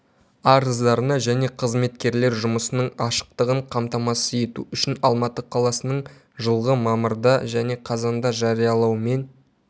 арыздарына және қызметкерлер жұмысының ашықтығын қамтамасыз ету үшін алматы қаласының жылғы мамырда және қазанда жариялаумен